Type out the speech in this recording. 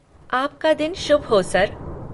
आपका दिन शुभ हो, सर!